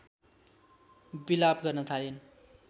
बिलाप गर्न थालिन्